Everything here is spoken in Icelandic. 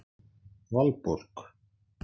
Valborg